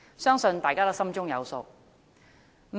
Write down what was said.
相信大家都心中有數。